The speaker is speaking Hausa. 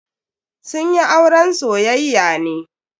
Sun yi auren soyayya ne.